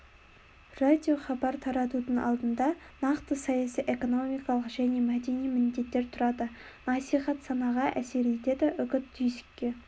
радиохабар таратудың алдында нақты саяси экономикалық және мәдени міндеттер тұрады насихат санаға әсер етеді үгіт түйсікке